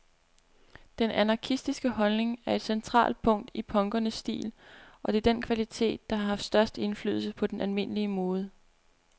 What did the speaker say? Den anarkistiske holdning er et centralt punkt i punkernes stil, og det er den kvalitet, der har haft størst indflydelse på den almindelige mode.